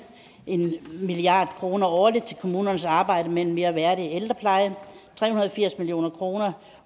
en milliard kroner årligt til kommunernes arbejde med en mere værdig ældrepleje tre hundrede og firs million kroner